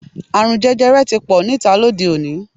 Àrùn jẹjẹrẹ ti pò níta lóde-òní.